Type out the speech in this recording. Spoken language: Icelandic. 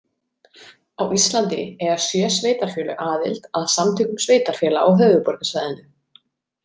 Á Íslandi eiga sjö sveitarfélög aðild að Samtökum sveitarfélaga á höfuðborgarsvæðinu.